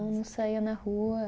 Não saía na rua.